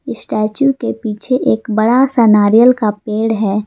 Statue के पीछे एक बड़ा सा नारियल का पेड़ है।